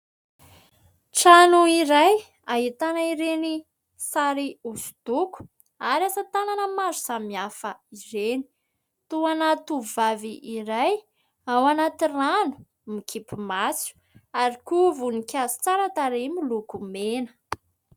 Trano iray, ahitana ireny sary hosodoko ary asa tanana maro samy hafa ireny. Toa ana tovovavy iray ao anaty rano mikipy maso ary koa voninkazo tsara tarehy miloko mena.